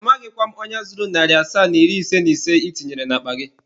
Amaghịkwa m onye zuru narị asaa na iri ise na ise ị tinyere n'akpa gị.